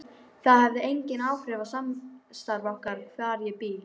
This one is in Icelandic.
Það hefði engin áhrif á samstarf okkar hvar ég bý.